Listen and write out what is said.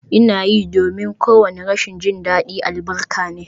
Ina yi, domin kowane rashin jin daɗi albarka ne